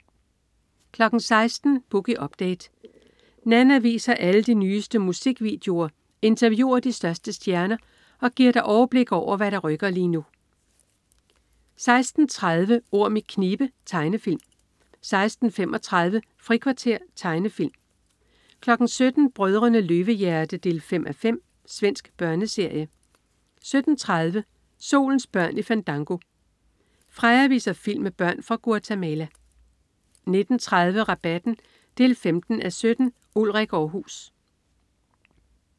16.00 Boogie Update. Nanna viser alle de nyeste musikvideoer, interviewer de største stjerner og giver dig overblik over, hvad der rykker lige nu 16.30 Orm i knibe. Tegnefilm 16.35 Frikvarter. Tegnefilm 17.00 Brødrene Løvehjerte 5:5. Svensk børneserie 17.30 Solens børn i Fandango. Freja viser film med børn fra Guatemala 19.30 Rabatten 15:17. Ulrik Aarhus